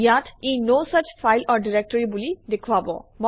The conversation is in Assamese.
ইয়াত ই no such file or directory বুলি দেখুৱাব